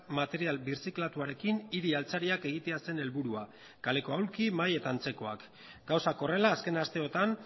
material birziklatuarekin hiri altzariak egitea zen helburua kaleko ahulki mahai eta antzekoak gauzak horrela azken asteotan